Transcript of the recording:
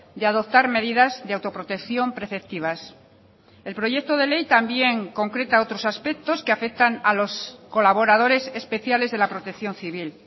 de adoptar medidas de autoprotección preceptivas el proyecto de ley también concreta otros aspectos que afectan a los colaboradores especiales de la protección civil